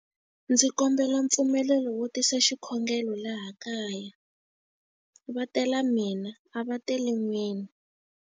Ndzi kombela mpfumelelo wo tisa xikhongelo laha kaya. Va tela mina, a va teli n'wina.